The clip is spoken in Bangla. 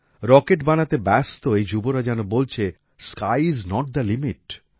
রকেট বানাতে ব্যস্ত এই যুবরা যেন বলছে sky is not the limit